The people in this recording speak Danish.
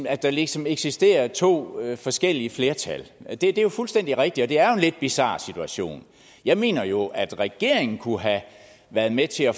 at der ligesom eksisterer to forskellige flertal det er fuldstændig rigtigt og det er jo en lidt bizar situation jeg mener jo at regeringen kunne have været med til at